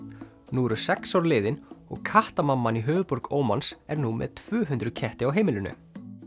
nú eru sex ár liðin og kattamamman í höfuðborg Ómans er nú með tvö hundruð ketti á heimilinu